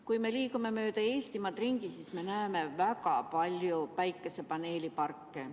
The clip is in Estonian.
Kui me liigume mööda Eestimaad ringi, siis me näeme väga palju päikesepaneeliparke.